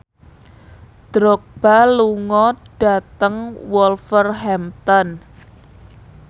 Drogba lunga dhateng Wolverhampton